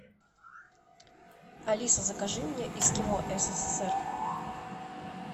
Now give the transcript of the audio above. алиса закажи мне эскимо ссср